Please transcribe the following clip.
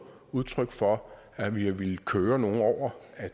udtryk for at vi har villet køre nogle over at